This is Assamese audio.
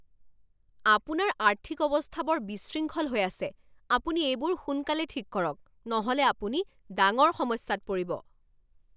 আপোনাৰ আৰ্থিক অৱস্থা বৰ বিশৃংখল হৈ আছে! আপুনি এইবোৰ সোনকালে ঠিক কৰক নহ'লে আপুনি ডাঙৰ সমস্যাত পৰিব।